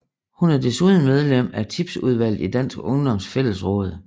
Hun er desuden medlem af Tipsudvalget i Dansk Ungdoms Fællesråd